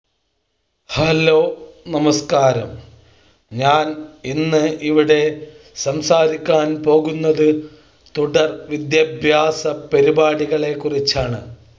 hello നമസ്ക്കാരം ഞാൻ ഇന്ന് ഇവിടെ സംസാരിക്കാൻ പോകുന്നത് തുടർ വിദ്യാഭ്യാസ പരിപാടികളെ കുറിച്ചാണ്